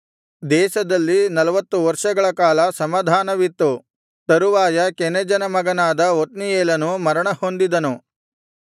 ದೇಶದಲ್ಲಿ ನಲ್ವತ್ತು ವರ್ಷಗಳ ಕಾಲ ಸಮಾಧಾನವಿತ್ತು ತರುವಾಯ ಕೆನಜನ ಮಗನಾದ ಒತ್ನೀಯೇಲನು ಮರಣಹೊಂದಿದನು